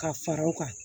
Ka fara u kan